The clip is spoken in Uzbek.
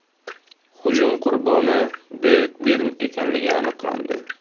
Hujum qurboni Devid Birn ekanligi aniqlandi.